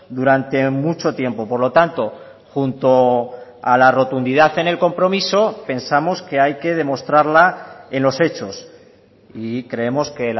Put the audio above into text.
durante mucho tiempo por lo tanto junto a la rotundidad en el compromiso pensamos que hay que demostrarla en los hechos y creemos que